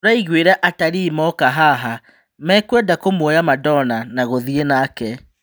"Tũraigũĩra atarii moka haha mekũenda kũmuoya 'Madona' na gũthiĩ nake.